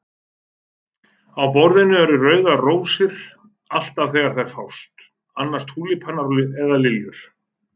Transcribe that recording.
Á borðinu eru rauðar rósir, alltaf þegar þær fást, annars túlípanar eða liljur.